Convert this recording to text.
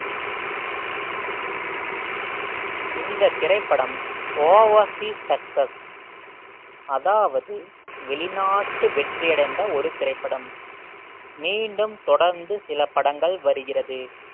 இந்த திரைப்படம் ஓவாசி success அதாவது வெளிநாட்டு வெற்றி அடைந்த ஒரு திரைப்படம் மீண்டும் தொடர்ந்து சில படங்கள் வருகிறது